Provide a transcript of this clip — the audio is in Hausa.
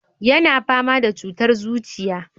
Yana fama da cutar zuciya.